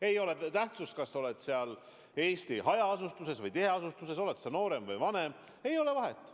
Ei ole tähtsust, kas sa elad Eestis hajaasustuse või tiheasustuse alal, oled sa noorem või vanem – ei ole vahet.